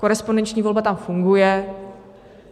Korespondenční volba tam funguje.